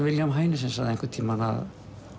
William Heinesen sagði einhvern tímann að